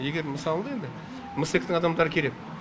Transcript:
егер мысалы да енді мсэк тің адамдарды керек